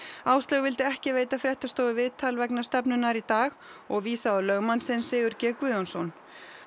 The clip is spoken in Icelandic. Áslaug vildi ekki veita fréttastofu viðtal vegna stefnunnar í dag og vísaði á lögmann sinn Sigurð g Guðjónsson